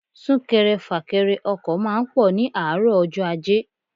Súnkẹrẹ fàkẹrẹ ọkọ̀ máa ń pọ̀ ní àárọ̀ ọjọ́ ajé.